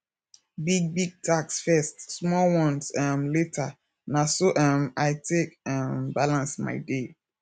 big big tasks first small ones um later na so um i take um balance my day